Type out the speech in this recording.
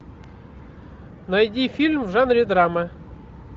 найди фильм в жанре драма